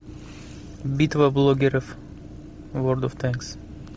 битва блогеров ворлд оф танк